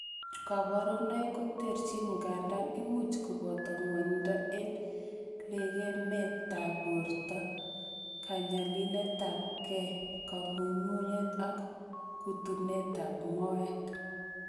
Koborunoik koterchin, ngandan imuch koboto ng'wonindo en lekemetab borto, kanyililetabgei, kang'ung'unet ak kutunetab moet.